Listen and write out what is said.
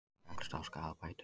Fellst á skaðabætur